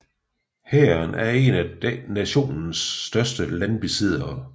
Hæren er en af nationens største landbesiddere